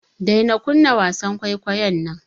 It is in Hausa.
Daina kunna wasan kwaikwayon nan.